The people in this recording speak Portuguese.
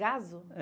Gazo?